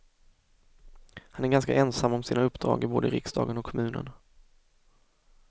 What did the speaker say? Han är ganska ensam om sina uppdrag i både riksdagen och kommunen.